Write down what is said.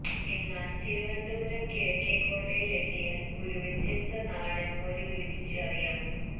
എന്നാൽ തിരുവനന്തപുരം കിഴക്കേകോട്ടയിൽ എത്തിയാൽ ഒരു വ്യത്യസ്ത നാടൻ മോര് രുചിച്ച് അറിയാം